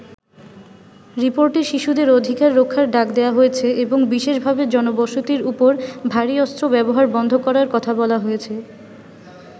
রিপোর্টে শিশুদের অধিকার রক্ষার ডাক দেয়া হয়েছে এবং বিশেষভাবে জনবসতির ওপর ভারী অস্ত্র ব্যবহার বন্ধ করার কথা বলা হয়েছে।